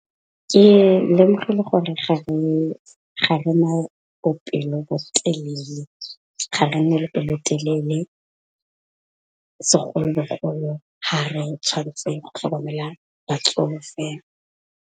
Ke lemogile gore ga re na le pelo'telele segologolo ga re tshwantseng go tlhokomela batsofe.